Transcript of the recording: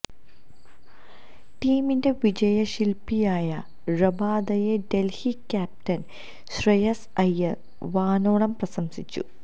ടീമിന്റെ വിജയശില്പ്പിയായ റബാദയെ ഡല്ഹി ക്യാപ്റ്റന് ശ്രേയസ് അയ്യര് വാനോളം പ്രശംസിച്ചു